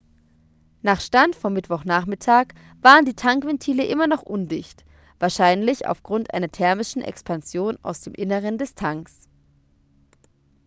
nach stand vom mittwochnachmittag waren die tankventile immer noch undicht wahrscheinlich aufgrund einer thermischen expansion aus dem inneren des tanks